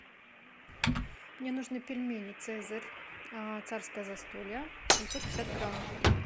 мне нужны пельмени цезарь царское застолье семьсот пятьдесят грамм